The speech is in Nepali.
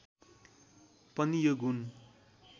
पनि यो गुण